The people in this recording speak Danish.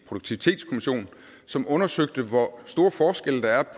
produktivitetskommissionen som undersøgte hvor store forskelle der